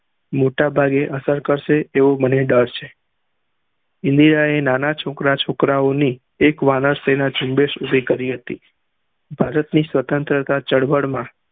મોટા ભાગે અસર કરસે એવું મને ડર છે ઇન્દિરાએ નાના છોકરા છોકરાઓની એક વાનર સેના ઉભી કરી હતી ભારત ની સ્વન્ત્રા ચળવળ માં